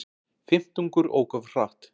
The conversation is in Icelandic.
Fimmtungur ók of hratt